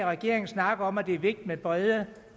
regeringen snakke om at det er vigtigt med brede